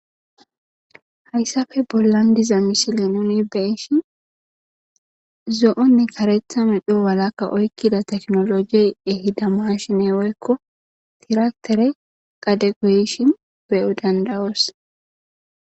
Hayssafe bollan diza misile nuni beeshin zo7onne karetha medho walakka oykkida teknolojiyey ehida mashine woyikko tiraktere gadepe yishin beyo dandawoos.